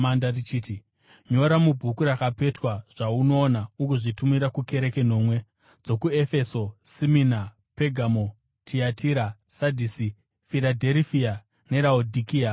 richiti, “Nyora mubhuku rakapetwa zvaunoona ugozvitumira kukereke nomwe: dzokuEfeso, Simina, Pegamo, Tiatira, Sadhisi, Firadherifia neRaodhikea.”